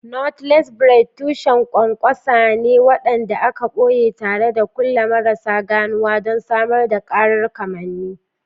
Knotless Braids tushen ƙwanƙwasa ne waɗanda aka ɓoye tare da kulli marasa ganuwa don samar da ƙarar kamanni.